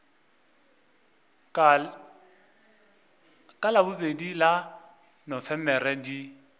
ka labobedi la nofemere di